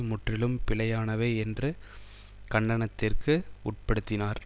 முற்றிலும் பிழையானவை என்று கண்டனத்திற்கு உட்படுத்தினார்